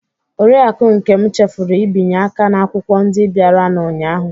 Oriakụ Nkem chefuru ibinye aka n'akwụkwọ ndị bịaranụ ụnyahụ.